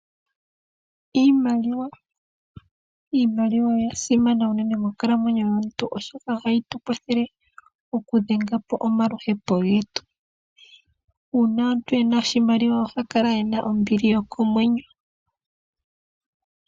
Iimaliwa oya simana unene moonkalamwenyo dhaantu oshoka ohayi tu kwathele okudhengapo omaluhepi getu nuuna omuntu ena oshimaliwa oha kala ena ombili yokomwenyo.